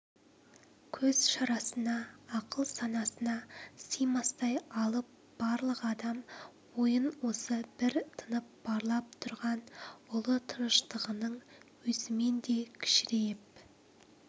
көз шарасына ақыл-санасына сыймастай алып барлық адам ойын осы бір тынып барлап тұрған ұлы тыныштығының өзімен де кішірейіп